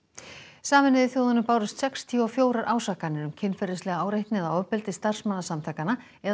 sameinuðu þjóðunum bárust sextíu og fjögur ásakanir um kynferðislega áreitni eða ofbeldi starfsmanna samtakanna eða